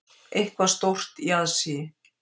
Eitthvað stórt í aðsigi.